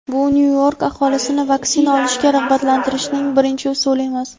bu Nyu-York aholisini vaksina olishga rag‘batlantirishning birinchi usuli emas.